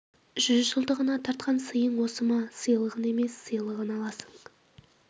жүзжылдығына тартқан сыйың осы ма сыйлығын емес сыйлығын аласың